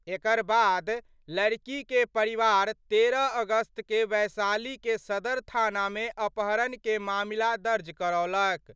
एकर बाद लड़की के परिवार 13 अगस्त क' वैशाली के सदर थाना मे अपहरण के मामला दर्ज करौलक।